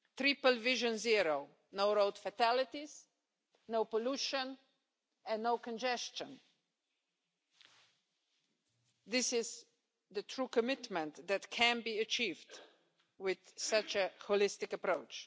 Triple Vision Zero', no road fatalities, no pollution and no congestion this is the commitment that can be achieved with such a holistic approach.